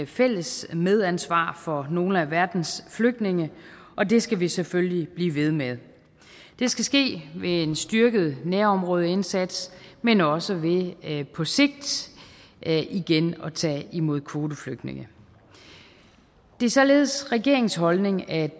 fælles medansvar for nogle af verdens flygtninge og det skal vi selvfølgelig blive ved med det skal ske ved en styrket nærområdeindsats men også ved på sigt igen at tage imod kvoteflygtninge det er således regeringens holdning at